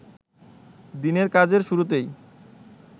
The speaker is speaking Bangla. দিনের কাজের শুরুতেই